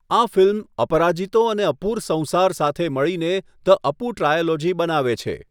આ ફિલ્મ, અપરાજિતો અને અપુર સંસાર સાથે મળીને 'ધ અપુ ટ્રાયોલોજી' બનાવે છે.